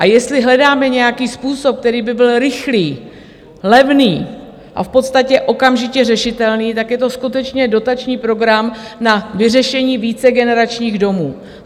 A jestli hledáme nějaký způsob, který by byl rychlý, levný a v podstatě okamžitě řešitelný, tak je to skutečně dotační program na vyřešení vícegeneračních domů.